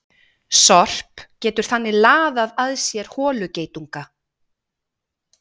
Sorp getur þannig laðað að sér holugeitunga.